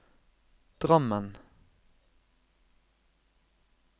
Drammen